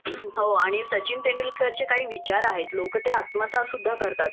हो.आणि सचिन तेंडुलकरचे काही विचार आहेत.लोक ते आत्मसाद सुद्धा करतात